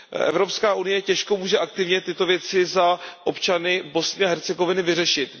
Evropská unie těžko může aktivně tyto věci za občany Bosny a Hercegoviny vyřešit.